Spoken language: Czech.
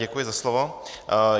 Děkuji za slovo.